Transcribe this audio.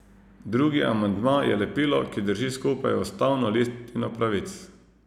Drugi amandma je lepilo, ki drži skupaj ustavno listino pravic.